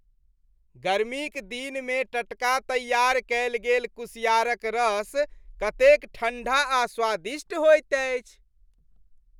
गर्मीक दिनमे टटका तैयार कयल गेल कुसियारक रस कते ठण्ढा आ स्वादिष्ट होइत अछि।